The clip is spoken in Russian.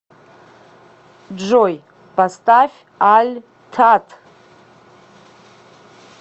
джой поставь аль тат